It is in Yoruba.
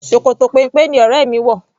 Ṣòkòtò péńpé ni ọrẹ mi wò.